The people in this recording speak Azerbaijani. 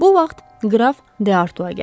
Bu vaxt qraf Deartua gəldi.